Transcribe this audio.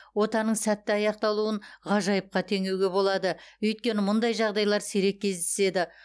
отаның сәтті аяқталуын ғажайыпқа теңеуге болады өйткені мұндай жағдайлар сирек кездеседі